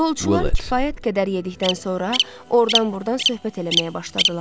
Yolçular kifayət qədər yedikdən sonra ordan-burdan söhbət eləməyə başladılar.